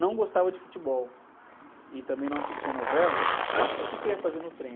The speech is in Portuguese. não gostava de futebol e também não assistia novela, então o quê que eu ia fazer no trem?